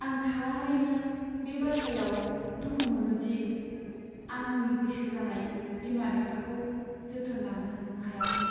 आं थारैनो बे बाथ्रायाव दुखु मोनो दि आं आंनि बैसो जानाय बिमा बिफाखौ जोथोन लानो हायाखै।